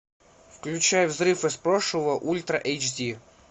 включай взрыв из прошлого ультра эйч ди